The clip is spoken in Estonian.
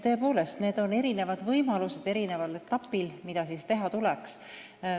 Tõepoolest, eri etappidel on erinevad võimalused, mida teha tuleks.